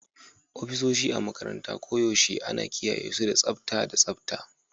Ofisoshi a makarantara koyaushe ana kiyaye su da tsabta da tsabta